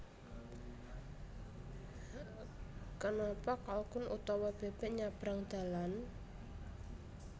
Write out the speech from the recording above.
Kenapa kalkun utawa bebek nyabrang dalan